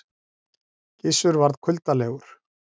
Gizur varð kuldalegur.